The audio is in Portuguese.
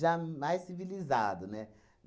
já mais civilizado, né?